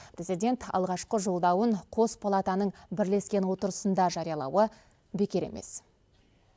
президент алғашқы жолдауын қос палатының бірлескен отырысында жариялауы бекер емес